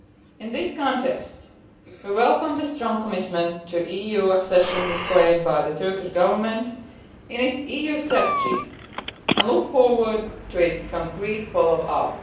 In this context, we welcome the strong commitment to EU accession displayed by the Turkish Government in its EU strategy and look forward to its concrete follow up.